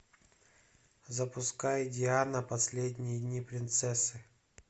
запускай диана последние дни принцессы